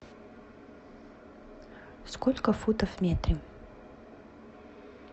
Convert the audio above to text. сколько футов в метре